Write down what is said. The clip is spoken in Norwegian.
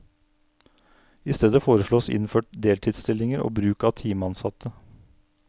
I stedet foreslås innført deltidsstillinger og bruk av timeansatte.